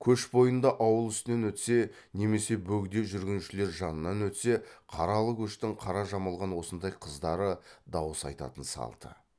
көш бойында ауыл үстінен өтсе немесе бөгде жүргіншілер жанынан өтсе қаралы көштің қара жамылған осындай қыздары дауыс айтатын салты